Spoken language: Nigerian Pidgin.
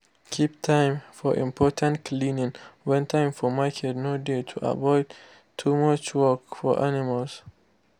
keep time for important cleaning when time for market no dey to avoid too much work for animals.